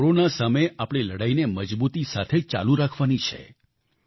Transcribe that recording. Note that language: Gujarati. આપણે કોરોના સામે આપણી લડાઈને મજબૂતી સાથે ચાલુ રાખવાની છે